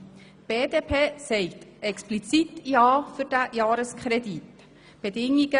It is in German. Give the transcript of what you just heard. Die BDP sagt zu diesem Jahreskredit explizit ja.